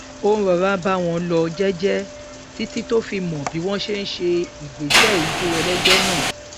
ó rọra ń bá wọn lọ jẹjẹ títí tó fi mọ bí wọn ṣe ń ṣe ìgbésẹijó ẹlẹgbẹ náà